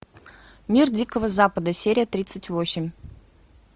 мир дикого запада серия тридцать восемь